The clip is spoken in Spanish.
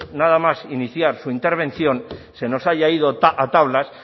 nada más iniciar su intervención se nos haya ido a tablas